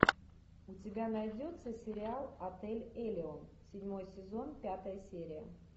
у тебя найдется сериал отель элеон седьмой сезон пятая серия